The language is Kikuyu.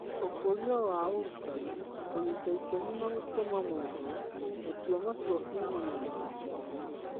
ũkũria wa ũrutani, kũnyita itemi na gũtũma mohoro, gũtua matua kuumana na mohoro.